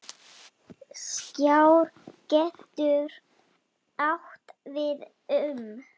Skjár getur átt við um